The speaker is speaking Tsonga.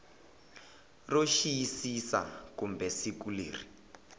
ro xiyisisa kumbe siku leri